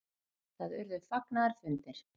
Það urðu fagnaðarfundir.